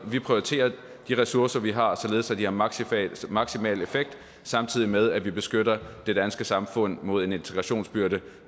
vi prioriterer de ressourcer vi har således at de har maksimal maksimal effekt samtidig med at vi beskytter det danske samfund mod en integrationsbyrde